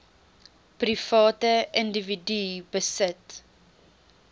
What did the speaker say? private individue besit